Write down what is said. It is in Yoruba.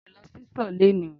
Mi ò lọ sí ìsò léni